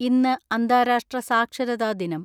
ഇന്ന് അന്താരാഷ്ട്ര സാക്ഷരതാ ദിനം.